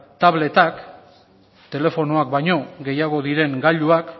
tabletak telefonoak baino gehiago diren gailuak